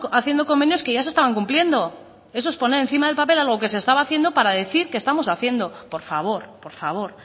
haciendo convenios que ya se estaban cumpliendo eso es poner encima del papel algo que se estaba haciendo para decir que estamos haciendo por favor por favor